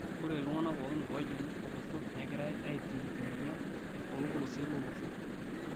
Ore iltungana pookin oojingu olosho neigirai aipim emoyian toolpolosien lolosho.